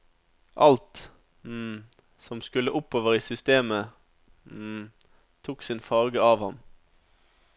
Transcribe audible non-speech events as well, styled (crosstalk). Alt (hesitation) som skulle oppover i systemet (hesitation) tok sin farge av ham.